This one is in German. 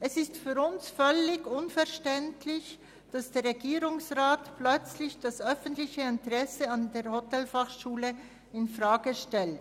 Es ist für uns völlig unverständlich, dass der Regierungsrat plötzlich das öffentliche Interesse an der Hotelfachschule Thun infrage stellt.